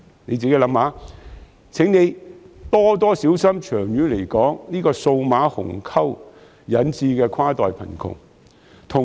試想想，亦請他們多加留意，長遠來說，這個數碼鴻溝所引致的跨代貧窮。